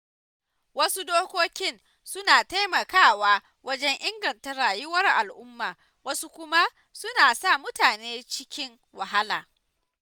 Wasu dokokin suna taimakawa wajen inganta rayuwar al'umma wasu kuma suna sa mutane cikin wahala.